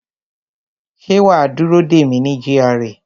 Ṣé wa á dúró dè mí ní GRA